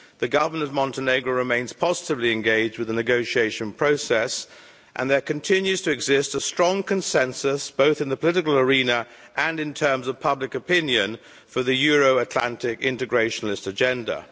The government of Montenegro remains positively engaged with the negotiation process and there continues to exist a strong consensus, both in the political arena and in terms of public opinion, for the Euro Atlantic integrationist agenda.